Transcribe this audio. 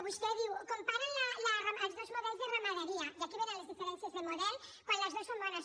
vostè diu comparen els dos models de ramaderia i aquí venen les diferències de model quan les dues són bones